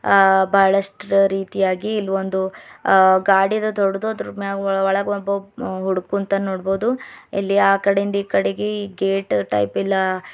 ಆ ಬಹಳಷ್ಟು ರೀತಿಯಾಗಿ ಇಲ್ ಒಂದು ಅ ಗಾಡಿ ಅದ ದೊಡದು ಅದರ ಮ್ಯಾಗ ಒಳಗ ಒಬ್ಬ ಹುಡುಗ ಕುಂತಾನ ನೋಡ್ಬೋದು ಇಲ್ಲಿ ಅಕಾಡಿ ಇಂದ ಇಕಡಿಗಿ ಗೇಟ್ ಟೈಪ್ ಇಲ್ಲ.